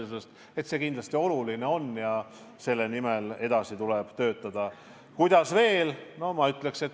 See on kindlasti oluline ja selle nimel tuleb edasi töötada.